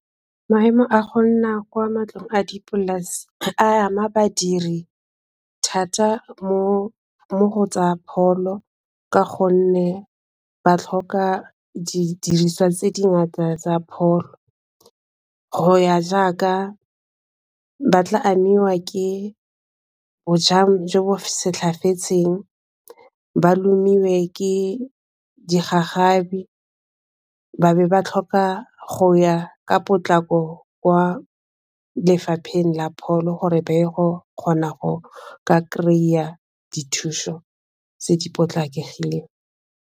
Maemo a go nna kwa matlong a dipolase a ama badiri thata mo go tsa pholo ka gonne ba tlhoka didiriswa tse di ngata tsa pholo go ya jaaka ba tla amiwa ke bojang jo bo setlhafetseng ba lomiwe ke digagabi ba be ba tlhoka go ya ka potlako kwa lefapheng la pholo gore ba ye go kgona go ka kry-a dithuso tse di potlakegileng.